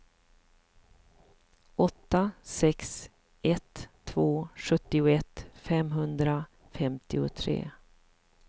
åtta sex ett två sjuttioett femhundrafemtiotre